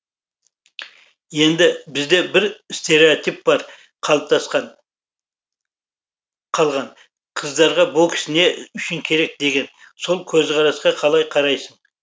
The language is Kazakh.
енді бізде бір стереотип бар қалыптасқан қалған қыздарға бокс не үшін керек деген сол көзқарасқа қалай қарайсың